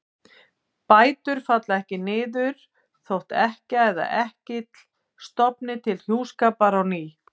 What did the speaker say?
Tvíburabróðir er graftarkýli sem myndast á sumu fólki milli rasskinna ofan á spjaldhrygg í miðlínu.